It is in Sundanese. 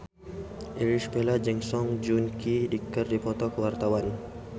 Irish Bella jeung Song Joong Ki keur dipoto ku wartawan